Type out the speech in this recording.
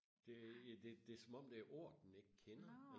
det det er som om det er ord den ikke kender